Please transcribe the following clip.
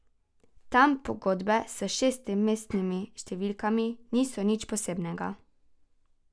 Tam pogodbe s šestmestnimi številkami niso nič posebnega.